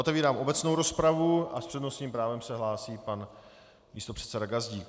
Otevírám obecnou rozpravu a s přednostním právem se hlásí pan místopředseda Gazdík.